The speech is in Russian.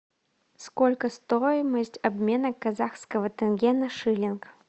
сколько стоимость обмена казахского тенге на шиллинг